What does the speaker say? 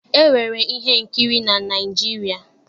E nwere ihe nkiri na Naịjirịa.